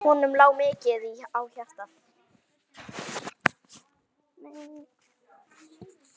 Honum lá mikið á hjarta.